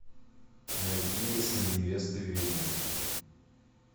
найти если невеста ведьма